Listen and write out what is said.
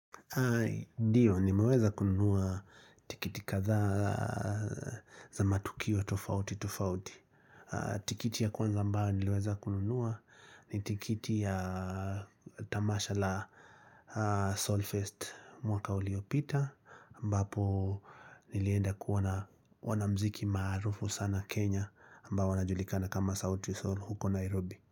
Ndio ni maweza kununua tikiti kadhaa za matukio tofauti tofauti tikiti ya kwanza ambao niliweza kununua ni tikiti ya tamasha la Soulfest mwaka uliopita ambapo nilienda kuona mziki maarufu sana Kenya ambao wanajulikana kama sauti saul huko Nairobi.